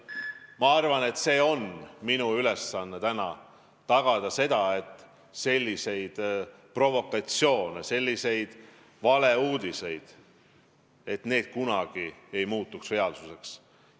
Ma arvan, et minu ülesanne on tagada, et selliseid provokatsioone, selliseid valeuudiseid ei oleks ja et nende sisu kunagi ei muutuks reaalsuseks.